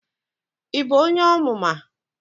Ị bụ onye Ọmụma?